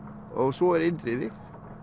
svo er Indriði